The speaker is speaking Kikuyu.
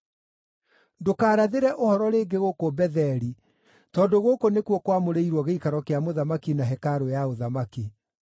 Ndũkaarathĩre ũhoro rĩngĩ gũkũ Betheli tondũ gũkũ nĩkuo kwamũrĩirwo gĩikaro kĩa mũthamaki na hekarũ ya ũthamaki.”